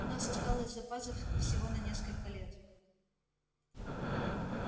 у нас осталось запасов всего на несколько лет